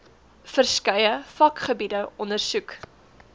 verskeie vakgebiede ondersoek